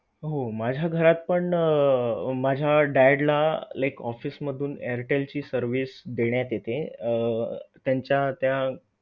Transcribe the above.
मात्र सरकारच्या केंद्रावर नियोजन नसल्याच्या तक्रारी शेतकरी करत आहे मान्सूनची कामे संपवून तालुक्यातील.